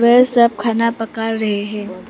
वे सब खाना पका रहे हैं।